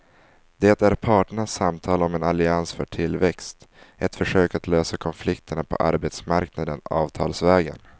Det är parternas samtal om en allians för tillväxt, ett försök att lösa konflikterna på arbetsmarknaden avtalsvägen.